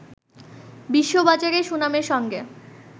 বিশ্ববাজারে সুনামের সঙ্গে